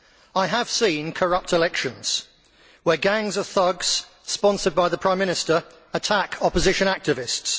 I have seen corrupt elections where gangs of thugs sponsored by the prime minister attack opposition activists